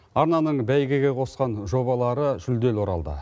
арнаның бәйгеге қосқан жобалары жүлделі оралды